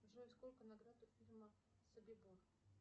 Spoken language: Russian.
джой сколько наград у фильма собибор